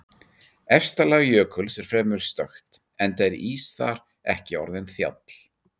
Efsta lag jökuls er fremur stökkt enda er ís þar ekki orðinn þjáll.